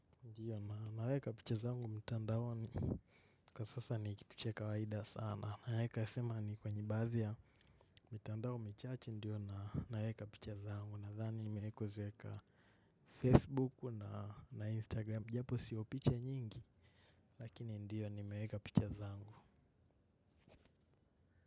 Ndio, naweka picha zangu mitandaoni kwa sasa ni kitu cha kawaida sana. Naeka sema ni kwenye baadhi, ya mitandao michache ndiyo naeka picha zangu. Nadhani nimeeko zeka Facebook na Instagram. Japo sio picha nyingi, lakini ndiyo nimeeka picha zangu.